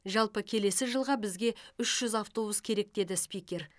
жалпы келесі жылға бізге үш жүз автобус керек деді спикер